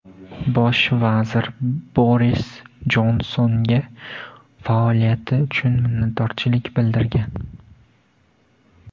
Bosh vazir Boris Jonsonga faoliyati uchun minnatdorchilik bildirgan.